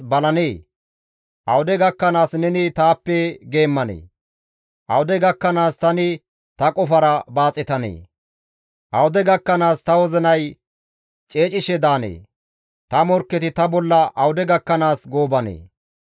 Awude gakkanaas tani ta qofara baaxetanee? Awude gakkanaas ta wozinay ceecishe daanee? Ta morkketi ta bolla awude gakkanaas goobanee?